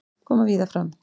Koma víða fram